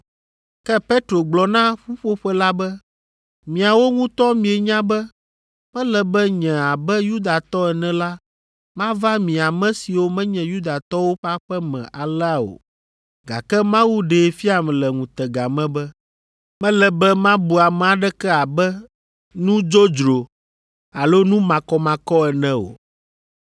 Ke Petro gblɔ na ƒuƒoƒe la be, “Miawo ŋutɔ mienya be mele be nye abe Yudatɔ ene la mava mi ame siwo menye Yudatɔwo ƒe aƒe me alea o, gake Mawu ɖee fiam le ŋutega me be, mele be mabu ame aɖeke abe nu dzodzro alo nu makɔmakɔ ene o.